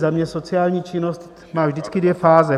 Za mě sociální činnost má vždycky dvě fáze.